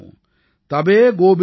தபே கோபிந்த்சிங் நாம கஹாஊம்